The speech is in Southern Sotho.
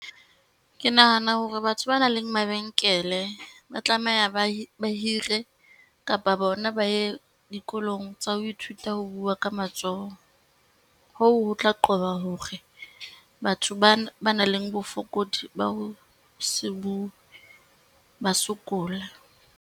Ke nahana hore batho ba nang le mabenkele ba tlameha ba ba hire kapa bona ba ye dikolong tsa ho Ithuta ho bua ka matsoho, hoo ho tla qoba hore batho ba nang le bofokodi ba ho se bua, ba sokole.